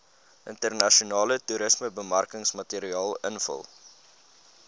internasionale toerismebemarkingsmateriaal invul